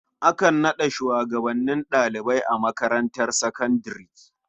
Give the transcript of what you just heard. Akan naɗa shugabanin ɗalibai makarantar sakandare.